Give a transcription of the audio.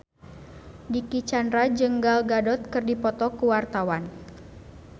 Dicky Chandra jeung Gal Gadot keur dipoto ku wartawan